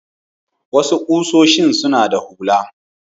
Wasu ƙusoshin suna da hula.